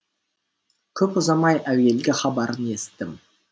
көп ұзамай әуелгі хабарын естідім